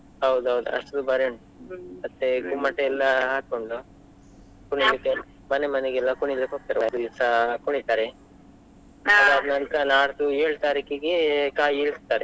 ಹೌದೌದ್ ಅಷ್ಟ್ ದುಬಾರಿ ಉಂಟ್ ಮತ್ತೆ ಎಲ್ಲಾ ಹಾಕೊಂಡು ಮನೆ, ಮನೆಗೆಲ್ಲ ಕುಣಿಲಿಕ್ಕೆ ಹೋಗ್ತಾರೆ, ಆ ದಿವ್ಸ ಕುಣಿತಾರೆ ಅದಾದ್ ನಂತ್ರ ನಾಡ್ದು ಏಳು ತಾರೀಕಿಗೆ ಕಾಯಿ ಇಳಿಸ್ತಾರೆ.